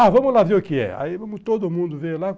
Ah, vamos lá ver o que é. Aí todo mundo veio lá.